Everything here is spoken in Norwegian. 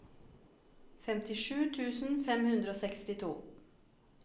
femtisju tusen fem hundre og sekstito